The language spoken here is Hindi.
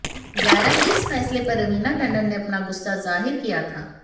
जायरा के इस फैसले पर रवीना टंडन ने अपना गुस्सा जाहिर किया था